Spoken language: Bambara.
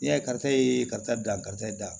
Yata e ye karisa dan karisa da